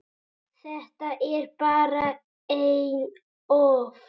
Þetta er bara einn ofn.